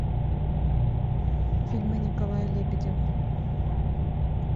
фильмы николая лебедева